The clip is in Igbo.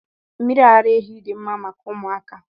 Mmiri ara ehi dị mma maka ụmụaka.